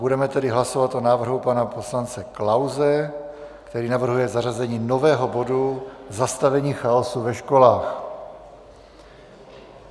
Budeme tedy hlasovat o návrhu pana poslance Klause, který navrhuje zařazení nového bodu Zastavení chaosu ve školách.